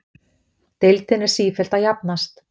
Deildin er sífellt að jafnast